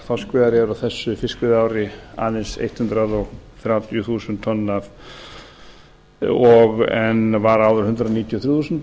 þorskveiðar eru á þessu fiskveiðiári aðeins hundrað þrjátíu þúsund tonn en var áður hundrað níutíu og þrjú þúsund